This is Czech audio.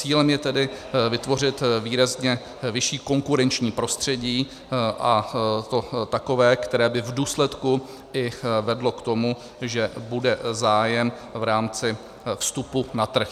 Cílem je tedy vytvořit výrazně vyšší konkurenční prostředí, a to takové, které by v důsledku i vedlo k tomu, že bude zájem v rámci vstupu na trh.